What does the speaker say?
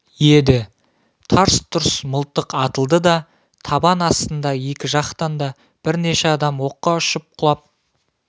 еді тарс-тұрс мылтық атылды да табан астында екі жақтан да бірнеше адам оққа ұшып құлап